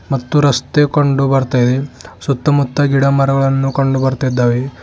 ಮತ್ತು ರಸ್ತೆ ಕಂಡು ಬರುತಾ ಇದೆ ಸುತ್ತಮುತ್ತ ಗಿಡ ಮರಗಳನ್ನು ಕಂಡುಬರುತಾ ಇದೆ.